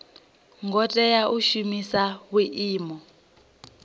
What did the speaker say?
ngo tea u shumisa vhuimo